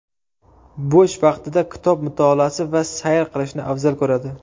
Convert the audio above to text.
Bo‘sh vaqtida kitob mutolaasi va sayr qilishni afzal ko‘radi.